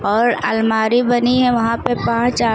और अलमारी बनी है वहां पे पांच आ --